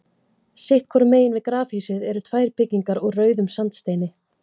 Sitt hvoru megin við grafhýsið eru tvær byggingar úr rauðum sandsteini.